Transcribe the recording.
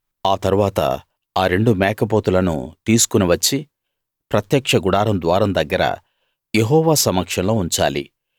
ఆ తరువాత ఆ రెండు మేకపోతులను తీసుకుని వచ్చి ప్రత్యక్ష గుడారం ద్వారం దగ్గర యెహోవా సమక్షంలో ఉంచాలి